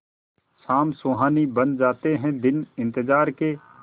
शाम सुहानी बन जाते हैं दिन इंतजार के